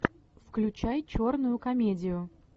включай черную комедию